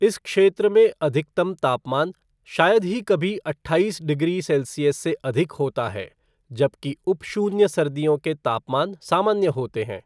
इस क्षेत्र में अधिकतम तापमान शायद ही कभी अट्ठाईस डिग्री सेल्सियस से अधिक होता है जबकि उप शून्य सर्दियों के तापमान सामान्य होते हैं।